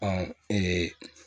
Ɔ